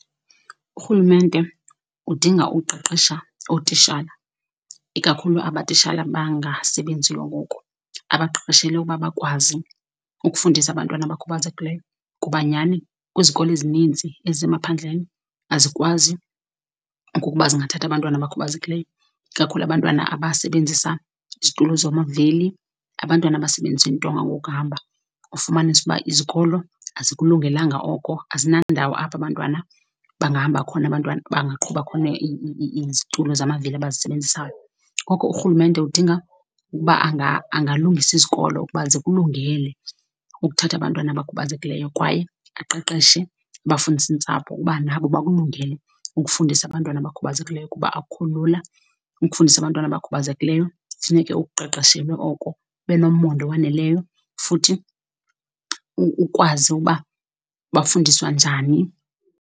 Urhulumente udinga uqeqesha ootishala, ikakhulu aba tishala bangasebenziyo ngoku, abaqeqeshele ukuba bakwazi ukufundisa abantwana abakhubazekileyo. Kuba nyhani kwizikolo ezinintsi ezisemaphandleni azikwazi ukuba zingathatha abantwana abakhubazekileyo, ikakhulu abantwana abasebenzisa izitulo zamavili, abantwana abasebenzisa iintonga ngokuhamba. Ufumanise uba izikolo azikulungelanga oko, azinandawo apho abantwana bangahamba khona abantwana, bangaqhuba khona izitulo zamavili abazisebenzisayo. Ngoko urhulumente udinga ukuba angalungisa izikolo ukuba zikulungele ukuthatha abantwana abakhubazekileyo kwaye aqeqeshe abafundisintsapho uba nabo bakulungele ukufundisa abantwana abakhubazekileyo, kuba akukho lula ukufundisa abantwana abakhubazekileyo kufuneke ukuqeqeshelwe oko, ube nomonde owaneleyo, futhi ukwazi uba bafundiswa njani.